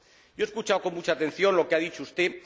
Yo he escuchado con mucha atención lo que ha dicho usted.